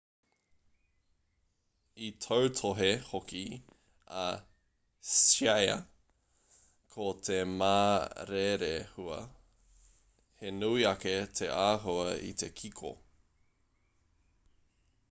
i tautohe hoki a hsieh ko te ma rerehua he nui ake te āhua i te kiko